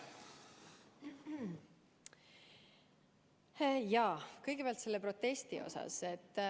Kõigepealt selle protesti kohta.